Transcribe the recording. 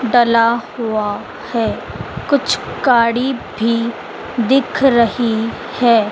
डला हुआ है। कुछ काड़ी भी दिख रही है।